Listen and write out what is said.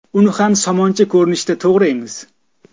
Uni ham somoncha ko‘rinishida to‘g‘raymiz.